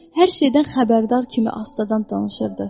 Hər şeydən xəbərdar kimi astadan danışırdı.